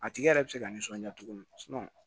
A tigi yɛrɛ bɛ se ka nisɔndiya cogo min